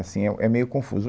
Sim, é é meio confuso.